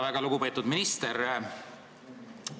Väga lugupeetud minister!